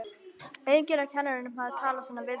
Enginn af kennurunum hafði talað svona við þá.